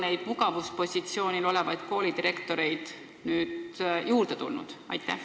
Kas neid mugavuspositsioonil olevaid koolidirektoreid on nüüd juurde tulnud?